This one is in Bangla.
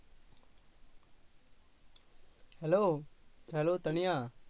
Hello, hello Tania?